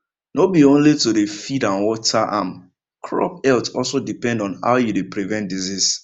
no be only to dey feed and water am crop health also depend on how you dey prevent disease